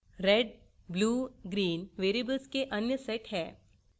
$red $blue $green variables के अन्य set हैं